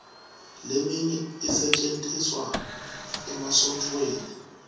leminye isetjentiswa emasontfweni